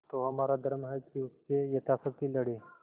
तो हमारा धर्म है कि उससे यथाशक्ति लड़ें